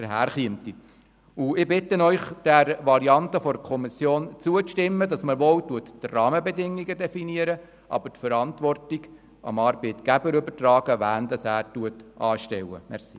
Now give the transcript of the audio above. Ich bitte Sie, der Variante der Kommission zuzustimmen, gemäss der die Rahmenbedingungen definiert werden, aber die Verantwortung für die Anstellung von Personal dem Arbeitgeber übertragen wird.